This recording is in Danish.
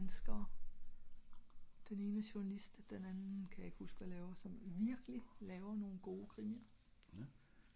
dansker, den ene er journalist og den anden ka jeg ik huske hvad laver som virkelig laver nogle gode krimier